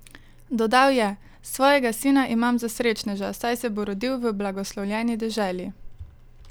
Dodal je: "Svojega sina imam za srečneža, saj se bo rodil v blagoslovljeni deželi.